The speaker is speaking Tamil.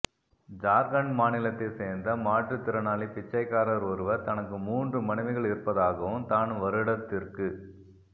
ஜார்க்கண்ட் மாநிலத்தை சேர்ந்த மாற்று திறனாளி பிச்சைக்காரார் ஒருவர் தனக்கு மூன்று மனைவிகள் இருப்பதாகவும் தான் வருடத்திற்கு